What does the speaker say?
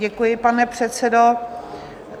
Děkuji, pane předsedo.